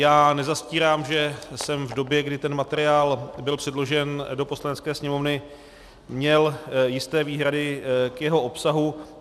Já nezastírám, že jsem v době, kdy ten materiál byl předložen do Poslanecké sněmovny, měl jisté výhrady k jeho obsahu.